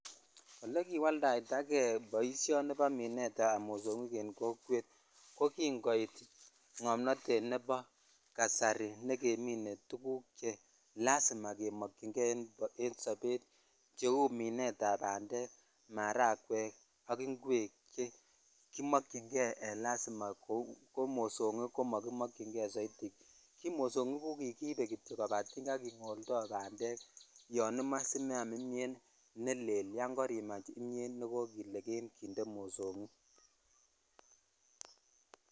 Ole kiwaldaitajei boisioni ni bo minet ab mosingik en kokwet ko kin koit ngomnotet nebo kasari ne geminn tuguk che lasima keboisien en dobet kou minet ab bandek ,maragwek ak ingwek che morony chekimokyi nei ko mosongi k ko mokimoikyin kei soiti ki mosongik koba kingoldo bandek yo imoe simeam Imyet ne lel yon korimach kimyet ne kakilegen .